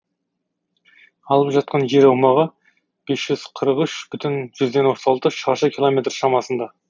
алып жатқан жер аумағы бес жүз қырық үш бүтін жүзден отыз алты шаршы километр шамасында